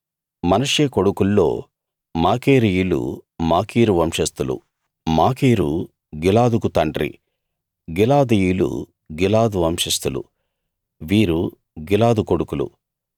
మనష్షే కొడుకుల్లో మాకీరీయులు మాకీరు వంశస్థులు మాకీరు గిలాదుకు తండ్రి గిలాదీయులు గిలాదు వంశస్థులు వీరు గిలాదు కొడుకులు